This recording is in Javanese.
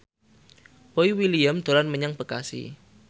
Boy William dolan menyang Bekasi